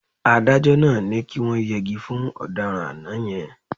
Adájọ́ náà ní kí wọ́n yẹgi fún ọ̀daràn àná yẹn.